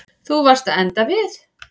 Þú varst að enda við.